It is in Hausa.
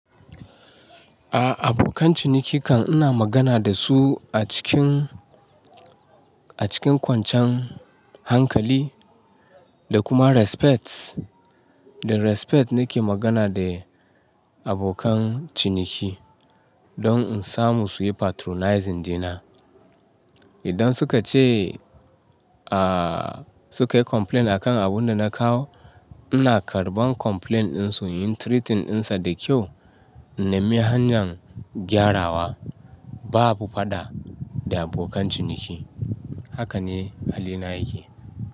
A abokan ciniki kan ina magana da su a cikin, a cikin kwancan hankali da kuma respect. Da respect ni ke magana da abokan ciniki don in samu su yi patronizing dina. Idan suka ce, a suka yi complaint akan abunda na kawo, ina karɓan complain ɗin su, yin treating ɗinsa da kyau, na mi hanyar gyarawa. Babu faɗa da abokan ciniki. Haka ne halina yake.